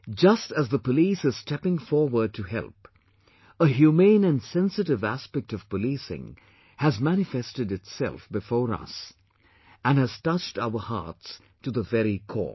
Just as the police is stepping forward to help, a humane and sensitive aspect of policing has manifested itself before us, and has touched our hearts to the very core